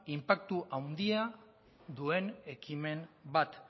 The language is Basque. inpaktu handia duen ekimen bat